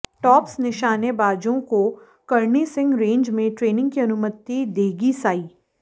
tops निशानेबाजों को Karni Singh range में ट्रेनिंग की अनुमति देगी साई